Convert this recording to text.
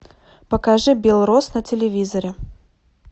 покажи белрос на телевизоре